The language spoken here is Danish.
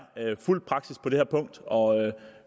fulgt på det her punkt og